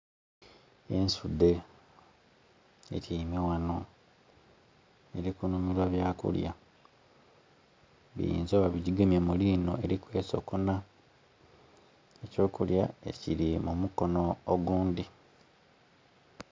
Ensudhe etyaime ghano eri kunhumilwa byakulya, biyinza okuba nga bigigemye mu linho eri kwesokona. Eky'okulya kiri mu mukono ogundhi.